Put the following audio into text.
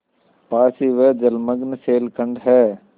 पास ही वह जलमग्न शैलखंड है